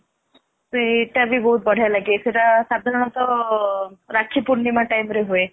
ସେଇଟା ବି ବହୁତ ବଢିଆ ଲାଗେ ସେଇଟା ସଧାରଣତଃ ରାଖି ପୁର୍ଣିମା time ରେ ହୁଏ